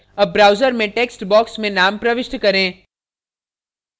अब browser में text box में name प्रविष्ट करें